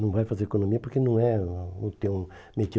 Não vai fazer economia porque não é o teu